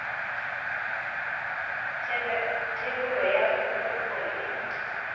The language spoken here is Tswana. thebolo ya phologolo gore e